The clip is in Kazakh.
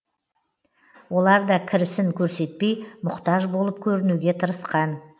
олар да кірісін көрсетпей мұқтаж болып көрінуге тырысқан